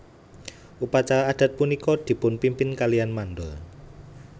Upacara adat punika dipunpimpin kalian mandor